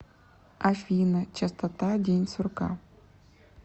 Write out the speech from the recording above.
афина частота день сурка